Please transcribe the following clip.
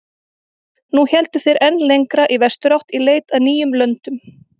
Nú héldu þeir enn lengra í vesturátt í leit að nýjum löndum.